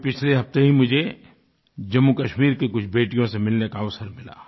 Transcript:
अभी पिछले हफ़्ते ही मुझे जम्मूकश्मीर की कुछ बेटियों से मिलने का अवसर मिला